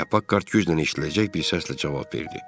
deyə Pakkart güclə eşidiləcək bir səslə cavab verdi.